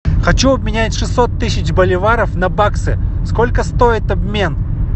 хочу обменять шестьсот тысяч боливаров на баксы сколько стоит обмен